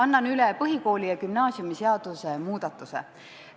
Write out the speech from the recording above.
Annan üle põhikooli- ja gümnaasiumiseaduse muutmise eelnõu.